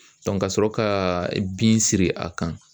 kasɔrɔ ka bin siri a kan